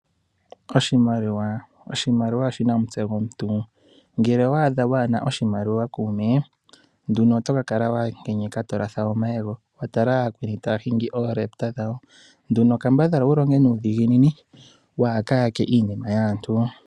Oshimaliwa , oshimaliwa oshina omuste gomuntu. ngele owaadha waana oshimaliwa kuume ,nduno oto kakala wankenyeka tolatha omayego watala aakweni taahingi oorepta dhawo. nduno kambadhala wulonge nuudhiginini waaka yake iinima yaantu.